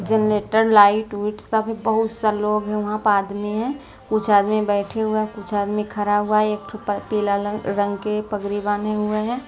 Generator light - उइट सब है बहुत सारे लोग हैं वहाँ पर आदमी है कुछ आदमी बैठे हुए हैं कुछ आदमी खरा हुआ है एकठो पल पीला लंग रंग के पगरी बाने हुए हैं।